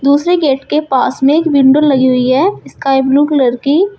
दूसरे गेट के पास में एक विंडो लगी हुई है स्काई ब्लू कलर की।